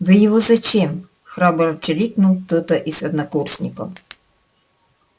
вы его зачем храбро чирикнул кто-то из однокурсников